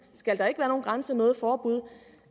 skal der ikke være nogen grænse noget forbud